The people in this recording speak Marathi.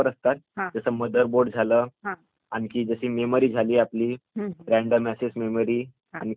आणखी जशी मेमरी झाली आपली, रॅडम असेस मेमरी आणखी होम झाली म्हणजे स्टोरेज झाल त्याचं